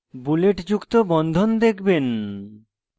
বুলেটযুক্ত bond দেখবেন